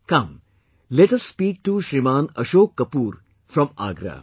Come let us speak to Shriman Ashok Kapoor from Agra